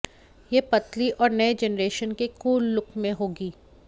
यह पतली और नए जेनरेशन के कूल लुक में होगी